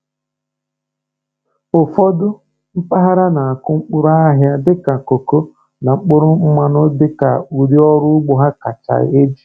Ụfọdụ mpaghara na-akụ mkpụrụ ahịa dịka koko na mkpụrụ mmanụ dị ka ụdị ọrụ ugbo ha kacha eji.